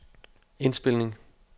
indspilning